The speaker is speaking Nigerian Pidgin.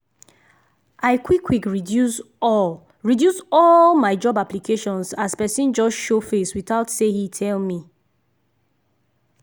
i quick quick reduce all reduce all my job applications as person just show face without say he tell me.